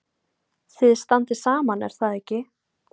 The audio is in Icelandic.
Þið standið saman er það ekki?